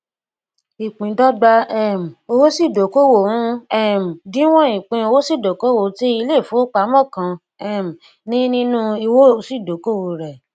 ìpíndọgba um owósíìdókòwò ń um díwọn ìpín owósíìdókòwò tí iléìfowópamọ kan um ní nínú owósíìdókòwò rẹ